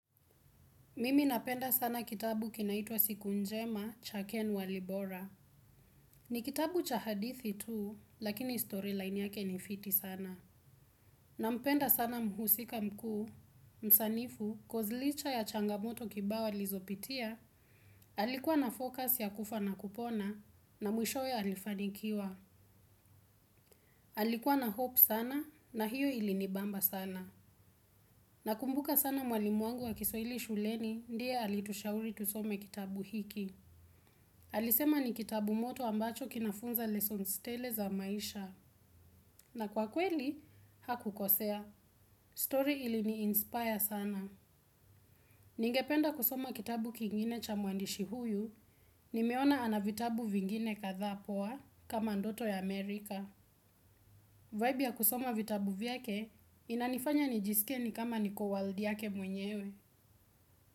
Mimi napenda sana kitabu kinaitwa Siku Njema Cha Ken Walibora. Ni kitabu cha hadithi tu, lakini storyline yake ni fiti sana. Nampenda sana mhusika mkuu, msanifu, coz licha ya changamoto kibao alizopitia, alikuwa na focus ya kufa na kupona, na mwishowe alifanikiwa. Alikuwa na hope sana, na hiyo ilinibamba sana. Na kumbuka sana mwalimu wangu wa kiswahili shuleni, ndiye alitushauri tusome kitabu hiki. Alisema ni kitabu moto ambacho kinafunza lessons tele za maisha. Na kwa kweli, hakukosea. Story ili ni inspire sana. Ningependa kusoma kitabu kingine cha muandishi huyu, nimeona ana vitabu vingine kadhaa poa kama ndoto ya Amerika. Vibe ya kusoma vitabu vyake, inanifanya nijisikie ni kama niko world yake mwenyewe.